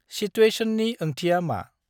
सित्वेशननि ओंथिया मा?